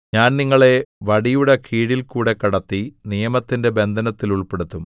ഞാൻ നിങ്ങളെ വടിയുടെകീഴിലൂടെ കടത്തി നിയമത്തിന്റെ ബന്ധനത്തിൽ ഉൾപ്പെടുത്തും